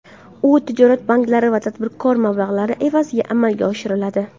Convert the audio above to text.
U tijorat banklari va tadbirkorlar mablag‘lari evaziga amalga oshiriladi.